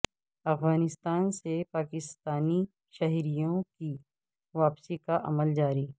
افغانستان سے پاکستانی شہریوں کی واپسی کا عمل جاری